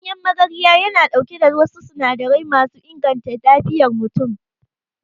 Ganyen magarya yana ɗauke da wasu sinadarai masu inganta lafiyar mutum.